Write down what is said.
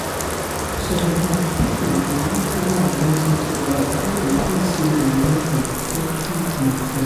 some um people dey use prayer and medicine together before dem feel say dem don heal um finish. um